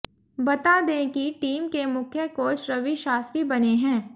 बता दें कि टीम के मुख्य कोच रवि शास्त्री बने हैं